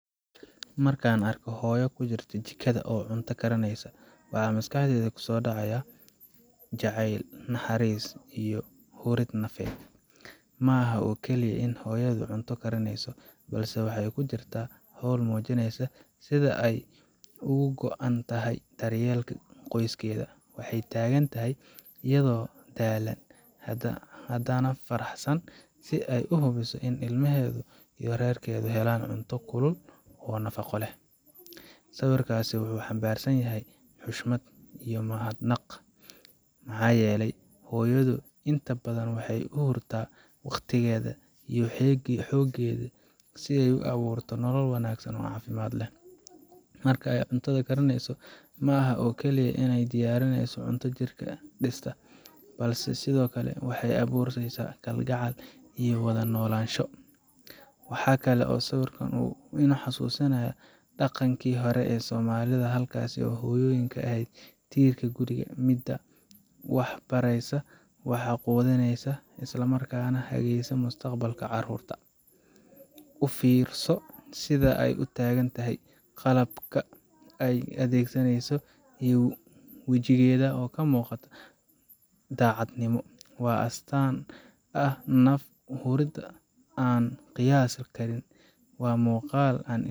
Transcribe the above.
Markaan arko hooyo jikada ku jirta oo cunto karineysa, waxa maskaxdayda kusoo dhacaya jacayl, naxariis, iyo hurid nafeed. Ma aha oo kaliya in hooyadu cunto karineyso, balse waxay ku jirtaa hawl muujinaysa sida ay ugu go’an tahay daryeelka qoyskeeda. Waxay taagan tahay iyadoo daalan, haddana faraxsan, si ay u hubiso in ilmaheeda iyo reerkeedu helaan cunto kulul oo nafaqo leh. Sawirkaasi wuxuu xambaarsan yahay xushmad iyo mahadnaq maxaa yeelay hooyadu inta badan waxay u hurtaa waqtigeeda iyo xooggeeda si ay u abuurto nolol wanaagsan oo caafimaad leh. Marka ay cuntada karinayso, ma aha oo kaliya in ay diyaarineyso cunto jirka dhisa, balse sidoo kale waxay abuuraysaa kalgacal iyo wada noolaansho. Waxa kale oo sawirkan uu ii xasuusinayaa dhaqankii hore ee soomaalida, halkaas oo hooyadu ahayd tiirka guriga, midda wax baraysa, wax quudineysa, isla markaana hagaysa mustaqbalka carruurta. U fiirso sida ay u taagan tahay, qalabka ay adeegsaneyso, iyo wejigeeda oo ka muuqato daacadnimo waa astaanta ah naf huridda aan la qiyaasi karin. Waa muuqaal aan.